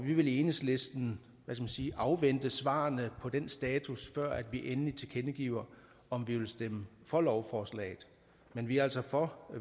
vi vil i enhedslisten afvente svarene på den status før vi endeligt tilkendegiver om vi vil stemme for lovforslaget men vi er altså for